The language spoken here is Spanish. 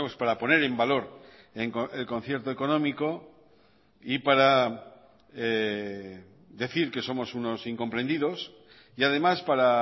para poner en valor el concierto económico y para decir que somos unos incomprendidos y además para